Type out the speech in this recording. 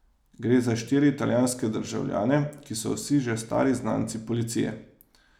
Gre za štiri italijanske državljane, ki so vsi že stari znanci policije.